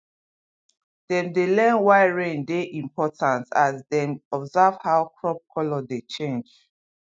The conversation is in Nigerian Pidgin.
dem dey learn why rain dey important as dem observe how crop colour dey change